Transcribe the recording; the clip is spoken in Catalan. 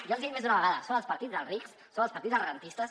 ja els ho he dit més d’una vegada són el partit dels rics són el partit dels rendistes